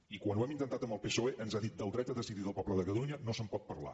i quan ho hem intentat amb el psoe ens ha dit del dret a decidir del poble de catalunya no se’n pot parlar